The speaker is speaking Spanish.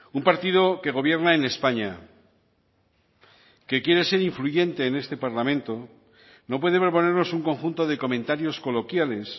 un partido que gobierna en españa que quiere ser influyente en este parlamento no puede proponernos un conjunto de comentarios coloquiales